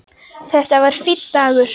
Þetta var fínn dagur.